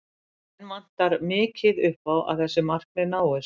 Enn vantar mikið upp á að þessi markmið náist.